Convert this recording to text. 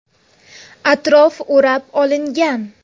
Atrof o‘rab olingan.